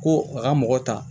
Ko a ka mɔgɔ ta